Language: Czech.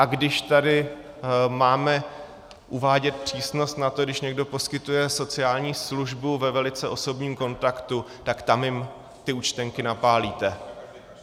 A když tady máme uvádět přísnost na to, když někdo poskytuje sociální službu ve velice osobním kontaktu, tak tam jim ty účtenky napálíte.